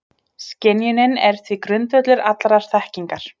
Skynjunin er því grundvöllur allrar þekkingar.